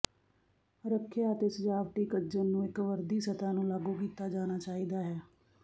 ਰੱਖਿਆ ਅਤੇ ਸਜਾਵਟੀ ਕੱਜਣ ਨੂੰ ਇੱਕ ਵਰਦੀ ਸਤਹ ਨੂੰ ਲਾਗੂ ਕੀਤਾ ਜਾਣਾ ਚਾਹੀਦਾ ਹੈ